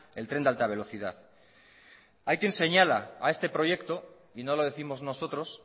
el tren de alta velocidad hay quien señala a este proyecto y no lo décimos nosotros